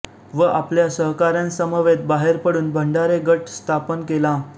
व आपल्या सहकाऱ्यांसमवेत बाहेर पडून भंडारे गट स्थापन केला